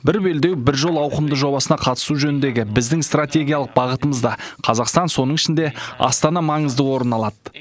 бір белдеу бір жол ауқымды жобасына қатысу жөніндегі біздің стратегиялық бағытымызда қазақстан соның ішінде астана маңызды орын алады